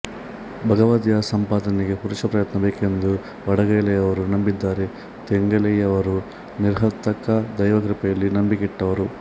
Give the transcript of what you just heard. ಭಗವದ್ದಯಾಸಂಪಾದನೆಗೆ ಪುರುಷ ಪ್ರಯತ್ನ ಬೇಕೆಂದು ವಡಗಲೈಯವರು ನಂಬಿದರೆ ತೆಂಗಲೈಯವರು ನಿರ್ಹೇತುಕ ದೈವಕೃಪೆಯಲ್ಲಿ ನಂಬಿಕೆ ಇಟ್ಟವರು